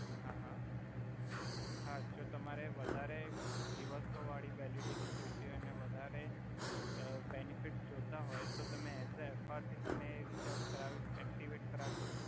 હા હા હા જો તમારે વધારે દિવસો વાડી વેલિડિટી જોઇતી હોય ને વધારે અ બેનિફિટ્સ જોતા હોય તો તમે એસ અ એફઆર થી રીચાર્જ કરાવી એક્ટીવેટ કરાવી સકો